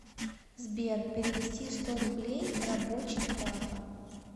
сбер перевести сто рублей рабочий папа